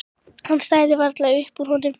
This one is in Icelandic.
Hann stæði varla upp úr honum.